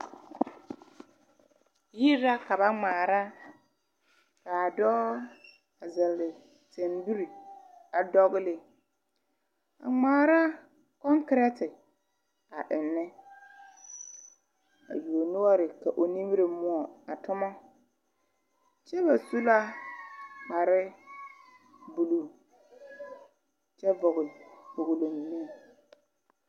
Yiri la ka ba ŋmaara ka dɔɔ zɛle tambiri a ŋmaara kɔŋkerete a ennɛ a yuo noɔre ka o nimiri moɔ a toma kyɛ ba su la kparre buluu kyɛ vɔgle kpolglo.